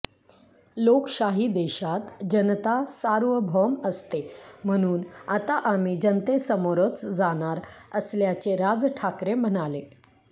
लोकशाही देशात जनता सार्वभौम असते म्हणून आता आम्ही जनतेसमोरच जाणार असल्याचे राज ठाकरे म्हणाले